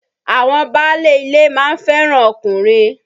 Àwọn báálé ilé ma ń fẹ́ràn ọkùnrin.